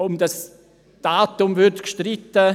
– Über das Datum wird gestritten.